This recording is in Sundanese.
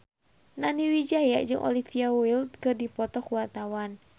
Nani Wijaya jeung Olivia Wilde keur dipoto ku wartawan